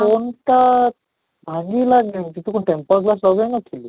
phone ତ ଭାଙ୍ଗିଲାଣି ତୁ କଣ tempore glass ଲଗେଇ ନ ଥିଲୁ?